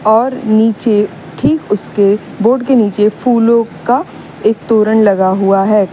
और नीचे ठीक उसके बोर्ड के नीचे फूलों का एक तोरन लगा हुआ है।